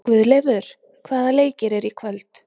Guðleifur, hvaða leikir eru í kvöld?